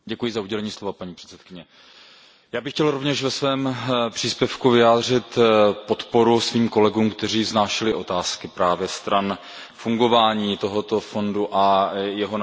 Paní předsedající, já bych chtěl rovněž ve svém příspěvku vyjádřit podporu svým kolegům, kteří vznášeli otázky právě ohledně fungování tohoto fondu a jeho naplnění.